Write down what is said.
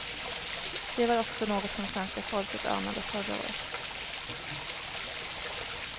Det var också något som svenska folket anade förra året.